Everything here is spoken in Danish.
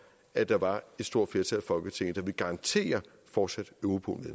at der var et stort flertal i folketinget der ville garantere fortsat europol